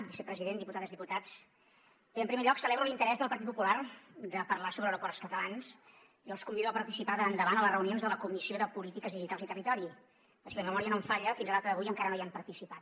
vicepresident diputades diputats bé en primer lloc celebro l’interès del partit popular de parlar sobre aeroports catalans i els convido a participar d’ara endavant a les reunions de la comissió de polítiques digitals i territori perquè si la memòria no em falla fins a data d’avui encara no hi han participat